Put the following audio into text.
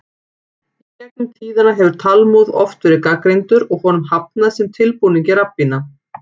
Í gegn um tíðina hefur Talmúð oft verið gagnrýndur og honum hafnað sem tilbúningi rabbína.